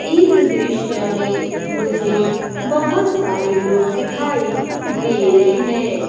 इस दृश्य में मुझे बहोत सारे लोग दिखाएं दे रहे हैं।